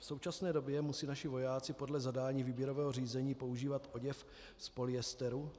V současné době musí naši vojáci podle zadání výběrového řízení používat oděv z polyesteru.